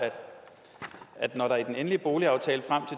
at når der i den endelige boligaftale frem